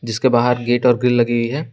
उसके बाहर गेट और ग्रिल लगी हुई है।